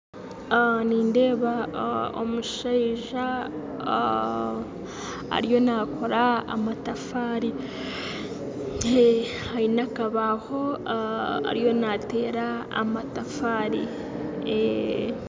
Nindeeba omushaija ariyo nakoora amatafaari aine akabaho ariyo nateera amatafaari